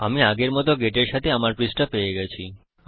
আমি আগের মত আমার গেট এর সাথে আমার পৃষ্ঠা পেয়ে গেছি